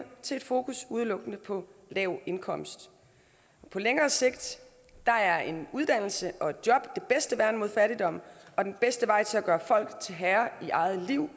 til et fokus udelukkende på lav indkomst på længere sigt er en uddannelse og et job det bedste værn mod fattigdom og den bedste vej til at gøre folk herre i eget liv